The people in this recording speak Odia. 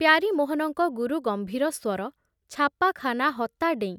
ପ୍ୟାରୀମୋହନଙ୍କ ଗୁରୁଗମ୍ଭୀର ସ୍ବର ଛାପାଖାନା ହତା ଡେଇଁ